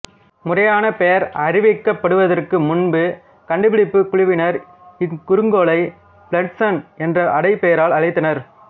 முறையான பெயர் அறிவிக்கப்படுவதற்கு முன்பு கண்டுபிடிப்பு குழுவினர் இக்குறுங்கோளை பிளிட்சன் என்ற அடை பெயரால் அழைத்தனர்